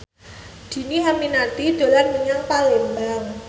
Dhini Aminarti dolan menyang Palembang